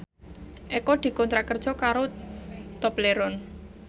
Eko dikontrak kerja karo Tobleron